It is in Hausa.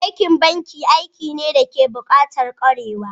Aikin banki aiki ne dayake bukatar kwarewa